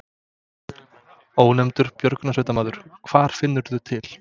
Ónefndur björgunarsveitarmaður: Hvar finnurðu til?